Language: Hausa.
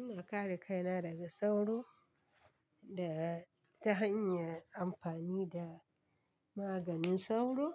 Ina kare kaina daga sauro da ta hanyar amfani da maganin sauro